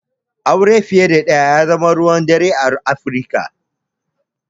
Aure fiye da ɗaya ya zama ruwan dare a Afirika.